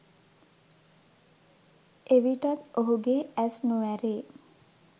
එවිටත් ඔහුගේ ඇස් නොඇරේ